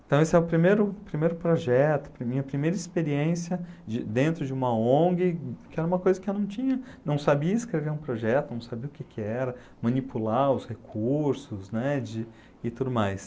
Então esse é o primeiro primeiro projeto, para mim, a minha primeira experiência de dentro de uma Ong, que era uma coisa que eu não tinha, não sabia escrever um projeto, não sabia o que que era, manipular os recursos, né, de, e tudo mais.